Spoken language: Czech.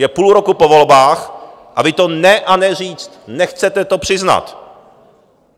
Je půl roku po volbách a vy to ne a ne říct, nechcete to přiznat.